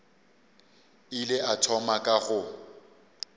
ile a thoma ka go